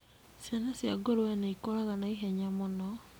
Ciana cia ngũrũe nĩ ikũraga naihenya mũno.